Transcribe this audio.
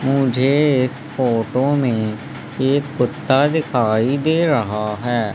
मुझे इस फोटो में एक कुत्ता दिखाई दे रहा है।